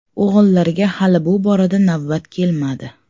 O‘g‘illarga hali bu borada navbat kelmadi.